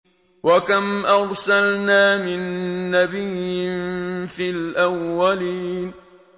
وَكَمْ أَرْسَلْنَا مِن نَّبِيٍّ فِي الْأَوَّلِينَ